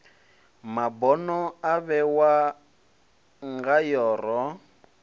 mabono a vhewa ngayo ro